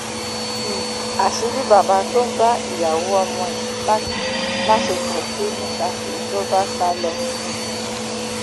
um àṣírí bàbá tó ń bá ìyàwó ọmọ ẹ láṣepọ tù ni saki ló bá sá lọ um